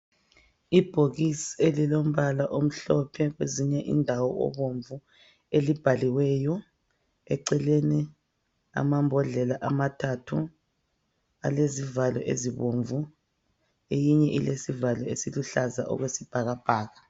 Ibhokisi elilombala omhlophe kwezinye indawo obomvu elibhaliweyo eceleni amambodlela amathathu alezivalo ezibomvu eyinye ilesivalo esiluhlaza okwesibhakabhaka.